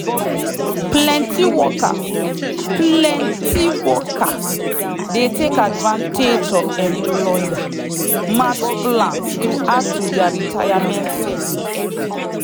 plenty workers plenty workers dey take advantage of employer-matched plans to add to their retirement savings.